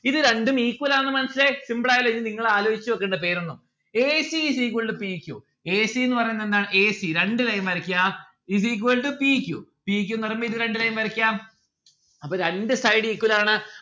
ഇത് രണ്ടും equal ആണെന്ന് മനസ്സിലായി simple ആയല്ലോ ഇനി നിങ്ങൾ ആലോചിച്ച് വെക്കെണ്ട പേരൊന്നും A C is equal to P Q. A C എന്ന് പറയുന്നത് എന്താ AC രണ്ടു line വരക്കാ is equal to P Q. P Q ന്ന് പറയുമ്പോ ഇത് രണ്ടു line വരക്കാം അപ്പൊ രണ്ട് side ആണ്.